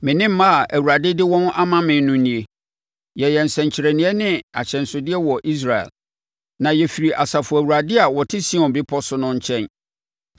Me ne mma a Awurade de wɔn ama me no nie. Yɛyɛ nsɛnkyerɛnneɛ ne ahyɛnsodeɛ wɔ Israel, na yɛfiri Asafo Awurade a ɔte Sion Bepɔso no nkyɛn.